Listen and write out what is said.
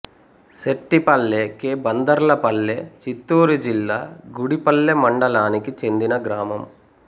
సెట్టిపల్లె కే బందర్లపల్లె చిత్తూరు జిల్లా గుడిపల్లె మండలానికి చెందిన గ్రామం